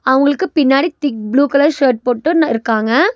அவங்களுக்கு பின்னாடி thick blue colour shirt போட்டுன்னுருக்காங்க.